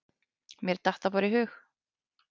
Mér datt það bara í hug.